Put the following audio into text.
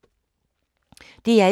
DR1